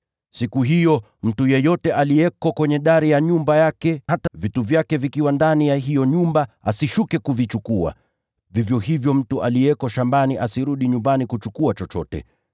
Siku hiyo, mtu yeyote aliye juu ya dari ya nyumba yake, hata vitu vyake vikiwa ndani ya hiyo nyumba, asishuke kuvichukua. Vivyo hivyo mtu aliye shambani asirudi nyumbani kuchukua chochote.